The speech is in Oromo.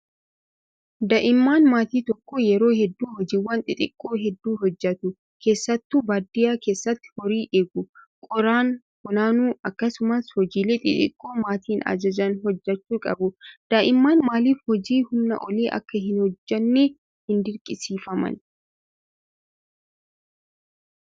Daa'imman maatii tokko yeroo hedduu hojiiwwan xixiqqoo hedduu hojjatu. Keessattuu baadiyyaa keessatti horii eeguu, qoraan funaanuu akkasumas hojiilee xixiqqoo maatiin ajajan hojjachuu qabu. Daa'imman maaliif hojii humnaa olii akka hin hojjannee hin dirqisiifamani?